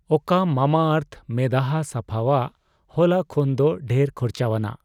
ᱚᱠᱟ ᱢᱟᱢᱟᱟᱨᱛᱷ ᱢᱮᱫᱦᱟ ᱥᱟᱯᱷᱟᱣᱟᱜ ᱦᱚᱞᱟ ᱠᱷᱚᱱᱫᱚ ᱰᱷᱮᱨ ᱠᱷᱚᱨᱪᱟᱣᱟᱱᱟᱜ